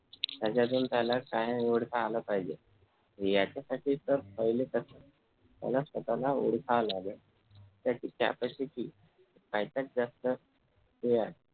त्याच्यातून त्याला काय निवडता आलं पाहिजे याच्यासाठी तर पहिले कस त्याला स्वतःला ओळखायला लागलं त्याची capacity त्याच्यात जास्त हे आहे